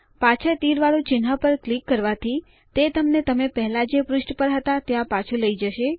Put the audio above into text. પાછળ તીર વાળું ચિહ્ન પર ક્લિક કરવાથી તે તમને તમે પેહલા જે પૃષ્ઠ પર હતા ત્યાં પાછું લઈ જશે